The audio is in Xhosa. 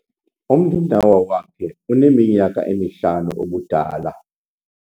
Umninawa wakhe uneminyaka emihlanu ubudala.